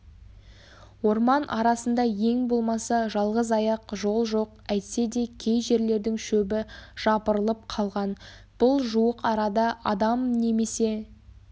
орман арасында ең болмаса жалғызаяқ жол жоқ әйтседе кей жерлердің шөбі жапырылып қалған бұл жуық арада адам немесе